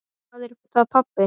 Hvað er það, pabbi?